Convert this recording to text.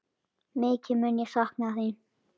Mikið mun ég sakna þín.